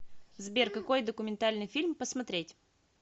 сбер какой документальный фильм посмотреть